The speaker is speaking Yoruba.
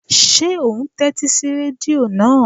Ṣé ò ún tẹ́tí sí rẹ́díò náà?